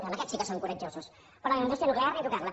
amb aquests sí que som coratjosos però la indústria nuclear ni tocar la